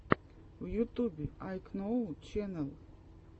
в ютубе айкноу ченэл